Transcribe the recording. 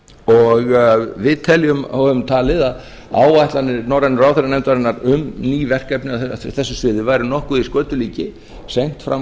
og við teljum og höfum talið að áætlanir norrænu ráðherranefndarinnar um ný verkefni á þessu sviði væri nokkuð í skötulíki seint fram